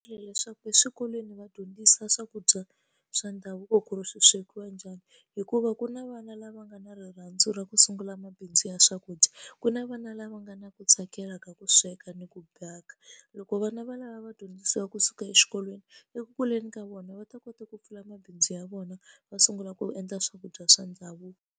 Leswaku eswikolweni va dyondzisa swakudya swa ndhavuko ku ri swi swekiwa njhani hikuva ku na vana lava nga na rirhandzu ra ku sungula mabindzu ya swakudya ku na vana lava nga na ku tsakela ka ku sweka ni ku bhaka loko vana va lava va dyondzisiwa kusuka exikolweni eku kuleni ka vona va ta kota ku pfula mabindzu ya vona va sungula ku endla swakudya swa ndhavuko.